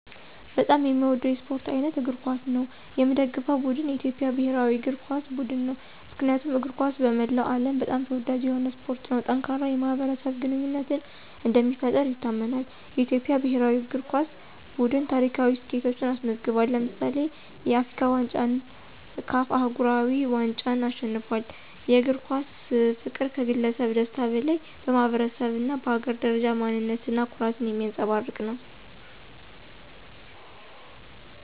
በጣም የሚወደው የስፖርት አይነት እግር ኳስ ነው። የሚደገፈው ቡድን የኢትዮጵያ ብሔራዊ እግር ኳስ ቡድን ነው። ምክንያቱም እግር ኳስ በመላው ዓለም በጣም ተወዳጅ የሆነ ስፖርት ነው። ጠንካራ የማኅበረሰብ ግንኙነትን እንደሚፈጥር ይታመናል። የኢትዮጵያ ብሔራዊ እግር ኳስ ቡድን ታሪካዊ ስኬቶችን አስመዝግቧል። ለምሳሌ፣ የአፍሪካ ዋንጫን እና CAF አህጉራዊ ዋንጫን አሸንፏል። የእግር ኳስ ፍቅር ከግለሰብ ደስታ በላይ በማኅበረሰብ እና በሀገር ደረጃ ማንነት እና ኩራትን የሚያንፀባርቅ ነው።